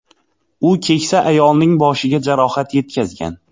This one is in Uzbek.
U keksa ayolning boshiga jarohat yetkazgan.